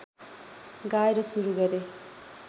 गाएर सुरु गरे